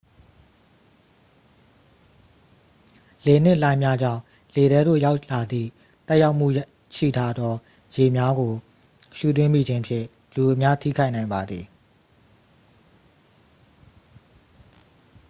လေနှင့် လှိုင်းများကြောင့် လေထဲသို့ ရောက်လာသည့် သက်ရောက်မှုရှိထားသော ရေများကို ရှူသွင်းမိခြင်းဖြင့် လူအများထိခိုက်နိုင်ပါသည်